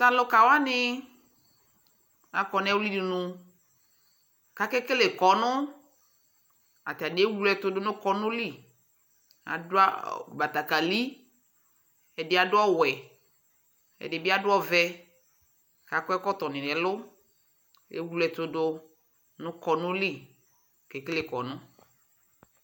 tʊ alʊkawanɩ akɔ nʊ ɛwlidunu, kʊ akekele ilevlesɛ, atanɩ ewle ɛtʊdʊ nʊ ilevlesɛ yɛ li, adʊ betekeli, ɛdɩ adʊ ɔwɛ, ɛdɩbɩ adʊ ɔvɛ, kʊ akɔ ɛkɔtɔ, ewle ɛtʊdʊ nʊ ilevlesɛ li